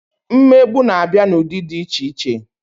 Mmegbu na-abịa n'ụdị dị iche iche